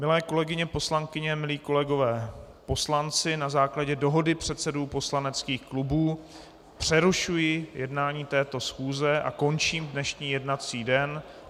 Milé kolegyně poslankyně, milí kolegové poslanci, na základě dohody předsedů poslaneckých klubů přerušuji jednání této schůze a končím dnešní jednací den.